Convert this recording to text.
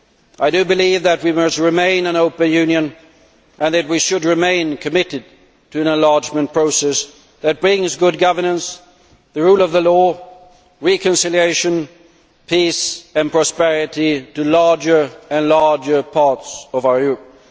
I do believe that we must remain an open Europe and that we should remain committed to an enlargement process that brings good governance, the rule of law, reconciliation, peace and prosperity to larger and larger parts of our Europe.